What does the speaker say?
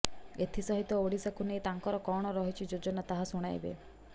ଏଥିସହିତ ଓଡିଶାକୁ ନେଇ ତାଙ୍କର କଣ ରହିଛି ଯୋଜନା ତାହା ଶୁଣାଇବେ